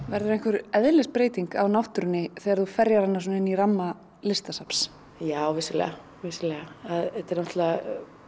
verður einhver eðlisbreyting á náttúrunni þegar þú ferjar hana svona inn í ramma listasafns já vissulega vissulega þetta er náttúrulega